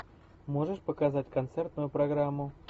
можешь показать концертную программу